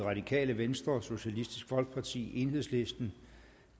radikale venstre socialistisk folkeparti enhedslisten